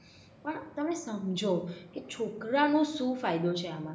પણ તમે સમજો કે છોકરાનું સુ ફાયદો છે આમાં.